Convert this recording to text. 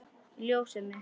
Ljósið mitt.